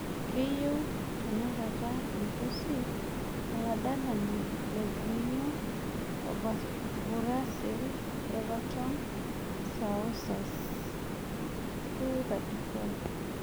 Keyieu tenakata irpusi oladalani le Gremio o burasil evaton saoas , 234